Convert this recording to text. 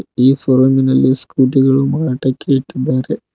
ಈ ಶೋರೂಮಿನಲ್ಲಿ ಸ್ಕೂಟಿ ಗಳು ಮಾರಾಟಕ್ಕೆ ಇಟ್ಟಿದ್ದಾರೆ.